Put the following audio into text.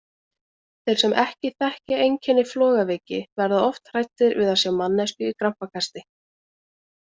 Þeir sem ekki þekkja einkenni flogaveiki verða oft hræddir við að sjá manneskju í krampakasti.